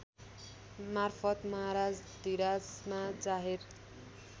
मार्फत् महाराजाधिराजमा जाहेर